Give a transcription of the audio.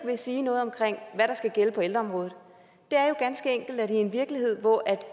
sige noget om hvad der skal gælde på ældreområdet det er jo ganske enkelt sådan at i en virkelighed hvor